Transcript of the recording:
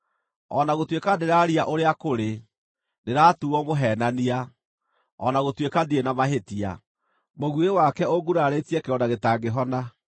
O na gũtuĩka ndĩraria ũrĩa kũrĩ, ndĩratuuo mũheenania; o na gũtuĩka ndirĩ na mahĩtia, mũguĩ wake ũngurarĩtie kĩronda gĩtangĩhona.’